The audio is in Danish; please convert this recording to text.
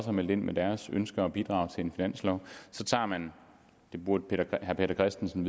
har meldt ind med deres ønsker og bidrag til en finanslov så tager man det burde herre peter christensen